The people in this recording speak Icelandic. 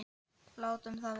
Látum það vera.